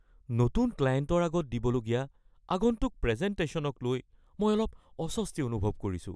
নতুন ক্লায়েণ্টৰ আগত দিবলগীয়া আগন্তুক প্ৰেজেনটেশ্যনক লৈ মই অলপ অস্বস্তি অনুভৱ কৰিছোঁ।